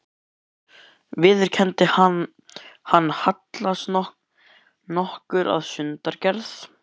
Ég hef ævinlega viðurkenndi hann, hallast nokkuð að sundurgerð